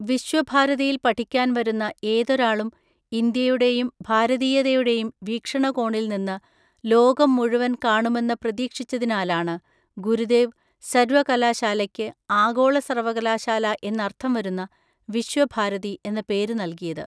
വിശ്വഭാരതിയിൽ പഠിക്കാൻ വരുന്ന ഏതൊരാളും ഇന്ത്യയുടേയും ഭാരതീയതയുടേയും വീക്ഷണകോണിൽ നിന്ന് ലോകം മുഴുവൻ കാണുമെന്ന് പ്രതീക്ഷിച്ചതിനാലാണ് ഗുരുദേവ് സർവ്വ കലാശാലയ്ക്ക് ആഗോള സർവ്വകലാശാല എന്നർത്ഥം വരുന്ന വിശ്വ ഭാരതി എന്ന പേര് നൽകിയത്.